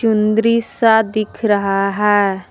चुन्दरी सा दिख रहा है।